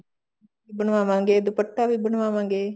ਬਣਵਾਵਾਂਗੇ ਦੁਪੱਟਾ ਵੀ ਬਣਵਾਵਾਂਗੇ